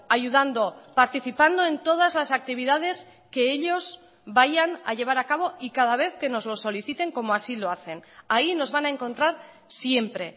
ayudando participando en todas las actividades que ellos vayan a llevar acabo y cada vez que nos lo soliciten como así lo hacen ahí nos van a encontrar siempre